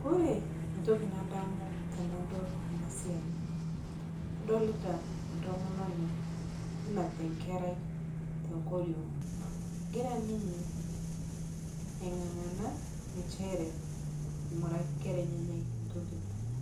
Kore ntoki nadamu tanadol ana siai adolita ntomononi nenapita nkerai tonkoriong' egira ninyee ai ngangana nchere aing'uraki nkera enyene ntoki nanya